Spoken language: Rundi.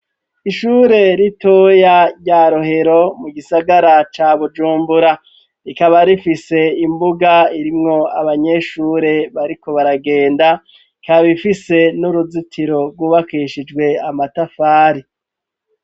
Ishure ritoya ryarohero mu gisagara ca bujumbura rikaba rifise imbuga irimwo abanyeshure bariko baragenda kabifise n'uruzitiro rwubakishijwe amatafari.